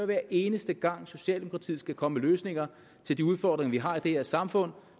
hver eneste gang socialdemokratiet skal komme med løsninger til de udfordringer vi har i det her samfund